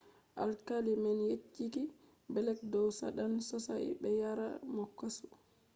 alkali man yecci blek dow saɗan sosai” ɓe yarai mo kasu